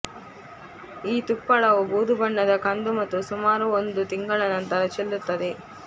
ಈ ತುಪ್ಪಳವು ಬೂದುಬಣ್ಣದ ಕಂದು ಮತ್ತು ಸುಮಾರು ಒಂದು ತಿಂಗಳ ನಂತರ ಚೆಲ್ಲುತ್ತದೆ